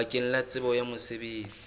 bakeng la tsebo ya mosebetsi